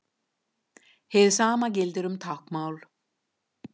Hið sama gildir um táknmál.